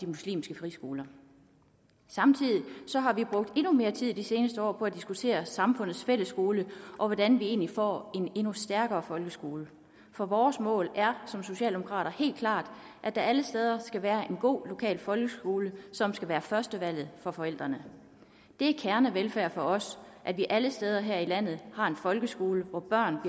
muslimske friskoler samtidig har vi brugt endnu mere tid i de seneste år på at diskutere samfundets fælles skole og hvordan vi egentlig får en endnu stærkere folkeskole for vores mål er som socialdemokrater helt klart at der alle steder skal være en god lokal folkeskole som skal være førstevalget for forældrene det er kernevelfærd for os at vi alle steder her i landet har en folkeskole hvor børn